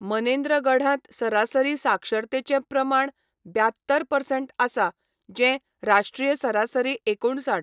मनेन्द्रगढांत सरासरी साक्षरतेचें प्रमाण ब्यात्तर परसेंट आसा, जें राष्ट्रीय सरासरी एकुणसाठ.